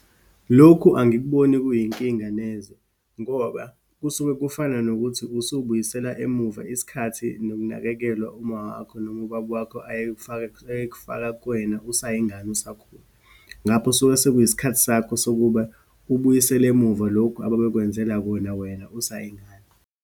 Lokhu angikuboni kuyinkinga neze, ngoba kusuke kufana nokuthi usubuyisela emuva isikhathi nokunakekelwa uma wakho noma ubaba wakho ayekufaka, ekufaka kuwena usayingane, usakhula. Ngapho suke sekuyisikhathi sakho sokuba ubuyisele emuva lokhu ababekwenzele kona wena usayingane.